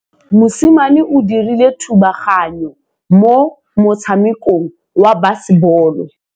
Mosimane o dirile thubaganyô mo motshamekong wa basebôlô.